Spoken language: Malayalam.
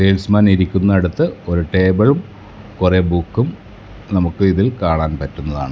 സെയിൽസ്മാൻ ഇരിക്കുന്നിടത്ത് ഒരു ടേബിളും കുറെ ബുക്കും നമുക്ക് ഇതിൽ കാണാൻ പറ്റുന്നതാണ്.